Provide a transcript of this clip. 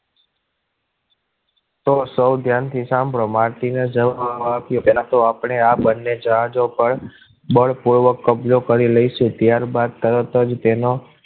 તો સૌ ધ્યાનથી સાંભળો માર્ટીને જવાબ આપ્યો પહેલા તો આપણે આ બંને જહાજો પર બળપૂર્વક કબજો કરી લઈશું ત્યારબાદ તરત જ તેનો